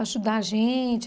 Ajudar a gente.